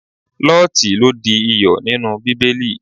Lọ́ọtí lo di iyọ̀ nínú Bíbélì.